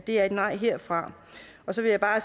er et nej herfra så vil jeg bare